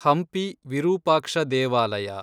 ಹಂಪಿ ವಿರೂಪಾಕ್ಷ ದೇವಾಲಯ